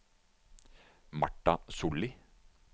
Martha Solli